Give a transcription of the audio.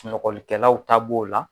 Sunɔgɔlikɛlaw ta b'o la.